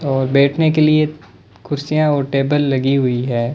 और बैठने के लिए कुर्सियां और टेबल लगी हुई है।